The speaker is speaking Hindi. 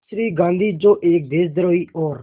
श्री गांधी जो एक देशद्रोही और